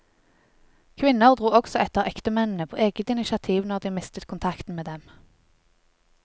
Kvinner dro også etter ektemennene på eget initiativ når de mistet kontakten med dem.